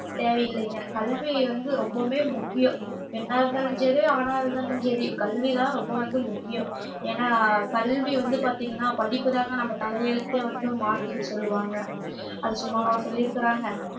தேவையில்லைங்க கல்வி வந்து ரொம்பவுமே முக்கியம் பெண்ணா இருந்தாலும் சரி ஆணா இருந்தாலும் சரி கல்விதான் ரொம்ப வந்து முக்கியம் ஏன்னா கல்வி வந்து பாத்தீங்கன்னா படிப்புதாங்க நம்ம தலையெழுத்தே வந்து மாத்துன்னு சொல்லுவாங்க அது சும்மாவா சொல்லியிருக்கிறாங்க